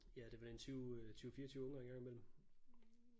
Ja det er vel en 20 20 24 unger en gang imellem